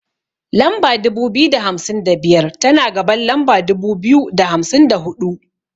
Lamba dubu biyu da hamsin da biyar, tana gaban lamba dubu biyu da hamsin da huɗu.